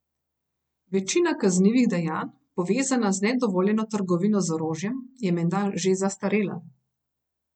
Večina kaznivih dejanj, povezana z nedovoljeno trgovino z orožjem, je menda že zastarela.